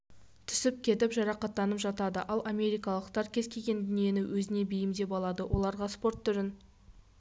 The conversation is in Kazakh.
түсіп кетіп жарақатанып жатады ал америкалықтар кез келген дүниені өзіне бейімдеп алады оларға спорт түрін